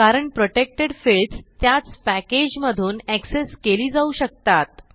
कारण protected fields त्याच package मधून एक्सेस केली जाऊ शकतात